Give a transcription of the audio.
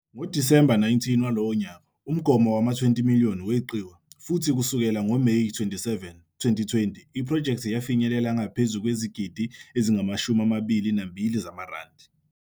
NgoDisemba 19 walowo nyaka, umgomo wama- 20,000,000 weqiwa, futhi kusukela ngoMeyi 27, 2020, iphrojekthi yafinyelela ngaphezu kwezigidi ezingama-22 zamaRandi.